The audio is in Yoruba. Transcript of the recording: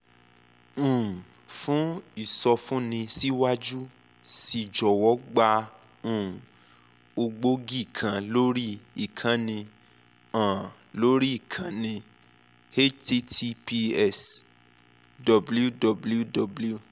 um fún ìsọfúnni síwájú sí i jọ̀wọ́ gba um ògbógi kan lórí ìkànnì um lórí ìkànnì https www